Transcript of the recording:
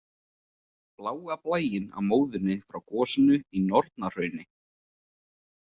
Bláa blæinn á móðunni frá gosinu í Nornahrauni.